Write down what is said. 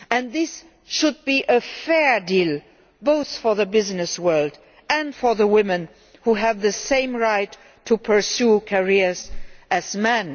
This should be a fair deal both for the business world and for women, who have the same right to pursue careers as men.